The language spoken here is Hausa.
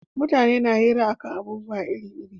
Mutane na hira a kan abubuwa iri iri